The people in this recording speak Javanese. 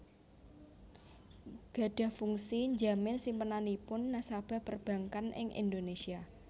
gadhah fungsi njamin simpenanipun nasabah perbankan ing Indonésia